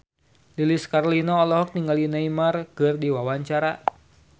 Lilis Karlina olohok ningali Neymar keur diwawancara